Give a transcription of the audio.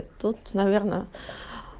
тут наверное